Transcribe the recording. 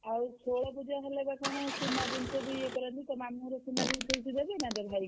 ଆଉ ଷୋଳ ପୁଜା ହେଲେ ବା କଣ ସୁନା ଜିନିଷ ଇଏ କରନ୍ତି ତୋ ମାମୁଁଘର